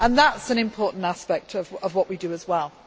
That is an important aspect of what we do as well.